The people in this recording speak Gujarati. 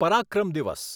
પરાક્રમ દિવસ